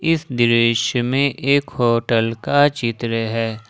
इस दृश्य में एक होटल का चित्र है ।